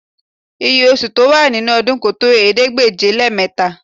Iye oṣù tó wà nínú ọdún kò tó ̀ẹẹ́dégbèje-lé-mẹ́ta